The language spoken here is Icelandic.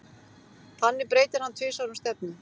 Þannig breytir hann tvisvar um stefnu.